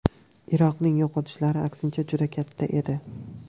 Iroqning yo‘qotishlari, aksincha, juda katta edi.